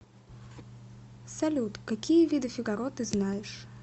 салют какие виды фигаро ты знаешь